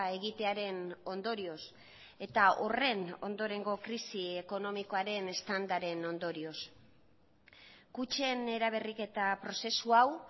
egitearen ondorioz eta horren ondorengo krisi ekonomikoaren eztandaren ondorioz kutxen eraberriketa prozesu hau